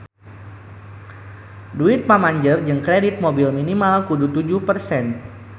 Duit pamanjer jang kredit mobil minimal kudu tujuh persen